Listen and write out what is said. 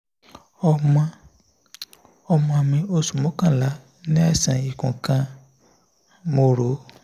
ọmọ ọmọ mi oṣu mokanla ni aisan ikun kan mo ro